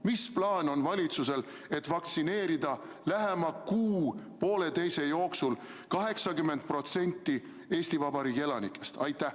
Mis plaan on valitsusel, et vaktsineerida lähema kuu-pooleteise jooksul 80% Eesti Vabariigi elanikest?